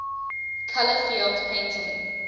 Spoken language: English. color field painting